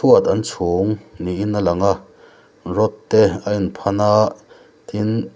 chhuat an chhung niin a lang a rod te a in phan a tin--